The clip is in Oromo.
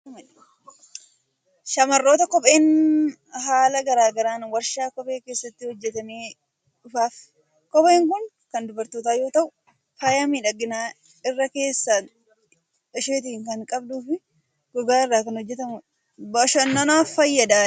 Shamarrootaaf kopheen haala garaa garaan waarshaa kophee keessatti hojjetamee dhufaafii. Kopheen kun kan dubartootaa yoo taatu, faaya miidhaginaa irra keessa ishiitii kan qabduu fi gogaa irraa kan hojjetamtudha. Bashannanaaf fayyaddi.